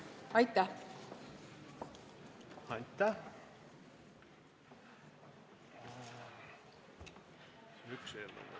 Aitäh!